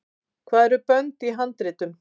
hvað eru bönd í handritum